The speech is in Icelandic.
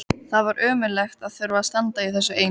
Þessa nótt var kalt í veðri, ákaflega kalt.